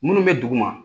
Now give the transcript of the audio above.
Minnu bɛ dugu ma